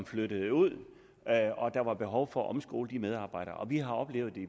flyttede ud og der var behov for at omskole deres medarbejdere og vi har oplevet